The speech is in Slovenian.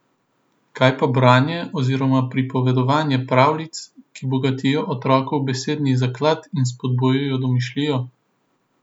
Kaj pa branje oziroma pripovedovanje pravljic, ki bogatijo otrokov besedni zaklad in spodbujajo domišljijo?